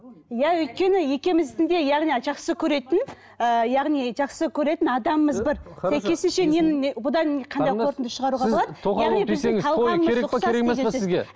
иә өйткені екеуміздің де яғни жақсы көретін ыыы яғни жақсы көретін адамымыз бір